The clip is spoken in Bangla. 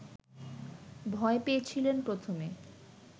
ভয় পেয়েছিলেন প্রথমে